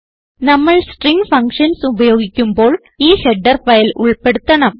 നമ്മൾ string functions ഉപയോഗിക്കുമ്പോൾ ഈ ഹെഡർ ഫയൽ ഉൾപ്പെടുത്തണം